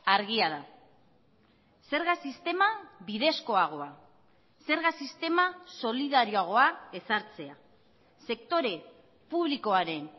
argia da zerga sistema bidezkoagoa zerga sistema solidarioagoa ezartzea sektore publikoaren